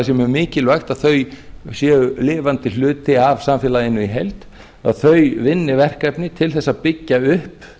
mjög mikilvægt að þau séu lifandi hluti af samfélaginu í heild að þau vinni verkefni til þess að byggja upp